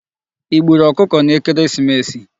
I gbùrù okụkọ n'ekereesimesi?